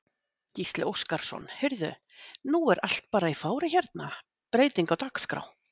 Gísli Óskarsson: Heyrðu nú er allt bara í fári hérna, breyting á dagskrá?